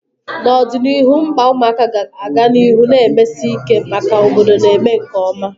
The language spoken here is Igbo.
N'ọdịnihu, mkpa ụmụaka ga-aga n'ihu na-emesi ike maka obodo na-eme nke ọma